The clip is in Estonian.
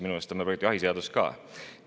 Minu meelest on ka jahiseaduse.